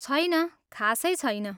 छैन, खासै छैन।